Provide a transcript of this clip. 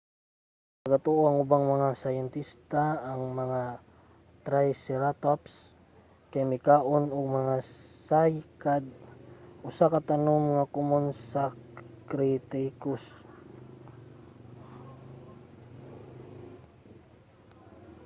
nagatuo ang ubang mga siyentista nga ang mga triceratops kay mikaon og mga cycad usa ka tanom nga komon sa cretaceous